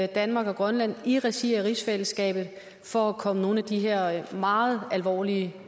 danmark og grønland i regi af rigsfællesskabet for at komme nogle af de her meget alvorlige